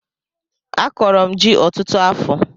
Akọrọ m ji ọtụtụ afọ